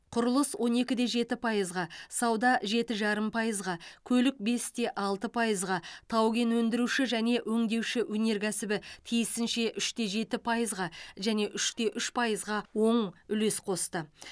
құрылыс он екіде жеті пайызға сауда жеті жарым пайызға көлік бесте алты пайызға тау кен өндіру және өңдеуші өнеркәсібі тиісінше үште жеті пайызға және үште үш пайызға оң үлес қосты